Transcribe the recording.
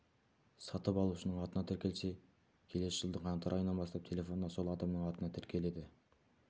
сатып алушының атына тіркелсе келесі жылдың қаңтар айынан бастап телефон да сол адамның атына тіркеледі